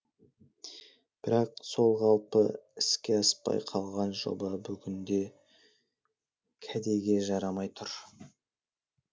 бірақ сол қалпы іске аспай қалған жоба бүгінде кәдеге жарамай тұр